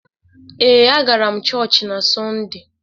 Ee, a gara m chọọchị n'Sọnde.